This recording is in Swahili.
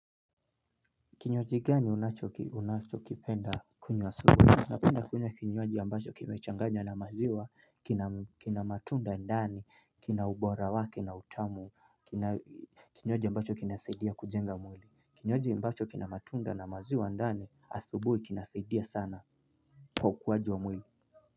Kinywaji gani unachokipenda kunywa asubuhi? Napenda kunywa kinywajii ambacho kimechanganya na maziwa, kina matunda ndani, kina ubora wake na utamu, kinywaji ambacho kina saidia kujenga mwili. Kinywaji ambacho kina matunda na maziwa ndani, asubuhi kina saidia sana, kwa ukuwaji wa mwili.